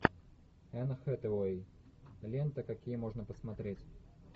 энн хэтэуэй лента какие можно посмотреть